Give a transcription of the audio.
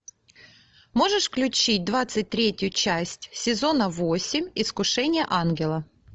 можешь включить двадцать третью часть сезона восемь искушение ангела